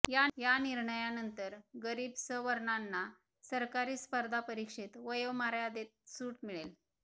या निर्णयानंतर गरीब सवर्णांना सरकारी स्पर्धा परिक्षेत वयोमर्यांदेत सूट मिळेल